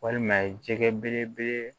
Walima jɛgɛ belebele